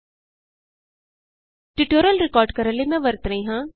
ਇਸ ਟਯੂਟੋਰਿਅਲ ਨੂੰ ਰਿਕਾਰਡ ਕਰਨ ਲਈ ਮੈਂ ਵਰਤ ਰਹੀ ਹਾਂ